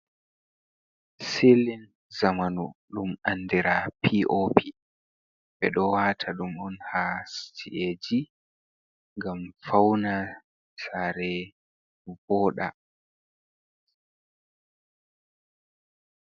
Silin zamanu ɗum andira p, o, p. Ɓe ɗo wata ɗum on ha ci’eji ngam fawna sare voɗa